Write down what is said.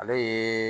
Ale ye